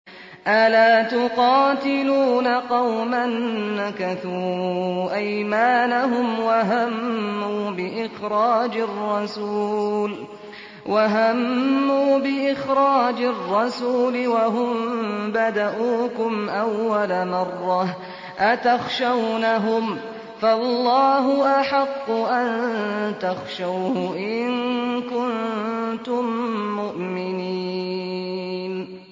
أَلَا تُقَاتِلُونَ قَوْمًا نَّكَثُوا أَيْمَانَهُمْ وَهَمُّوا بِإِخْرَاجِ الرَّسُولِ وَهُم بَدَءُوكُمْ أَوَّلَ مَرَّةٍ ۚ أَتَخْشَوْنَهُمْ ۚ فَاللَّهُ أَحَقُّ أَن تَخْشَوْهُ إِن كُنتُم مُّؤْمِنِينَ